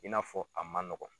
I n'a fɔ a man nɔgɔn.